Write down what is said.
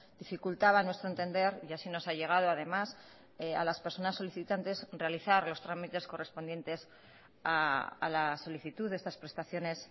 dificultaba a nuestro entender y así nos ha llegado además a las personas solicitantes realizar los trámites correspondientes a la solicitud de estas prestaciones